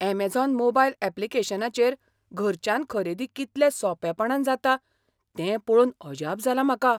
Amazon mobile ऍप्लिकेशनाचेर घरच्यान खरेदी कितल्या सोंपेपणान जाता तें पळोवन अजाप जालां म्हाका!